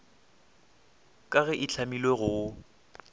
ka ge e hlamilwe go